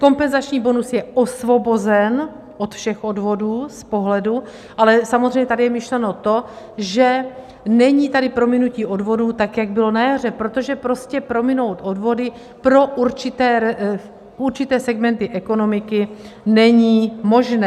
Kompenzační bonus je osvobozen od všech odvodů z pohledu - ale samozřejmě tady je myšleno to, že není tady prominutí odvodů, tak jak bylo na jaře, protože prostě prominout odvody pro určité segmenty ekonomiky není možné.